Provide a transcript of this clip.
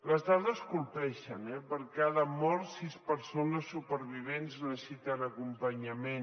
les dades colpeixen eh per cada mort sis persones supervivents necessiten acompanyament